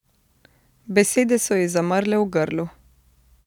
Besede so ji zamrle v grlu.